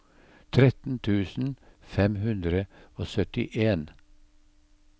tretten tusen fem hundre og syttien